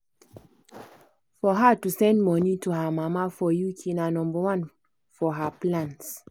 for her to send money to her mama for uk na nomba one for her plans.